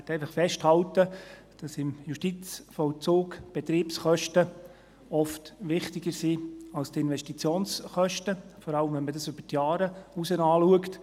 Ich möchte einfach festhalten, dass im Justizvollzug die Betriebskosten oft wichtiger sind als die Investitionskosten, vor allem, wenn man dies über die Jahre hinaus betrachtet.